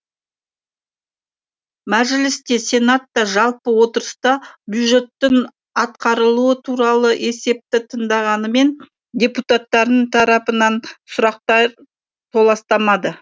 мәжіліс те сенат та жалпы отырыста бюжеттің атқарылуы туралы есепті тыңдағанымен депутаттардың тарапынан сұрақтар толастамады